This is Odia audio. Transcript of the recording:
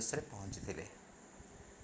usରେ ପହଞ୍ଚିଥିଲେ।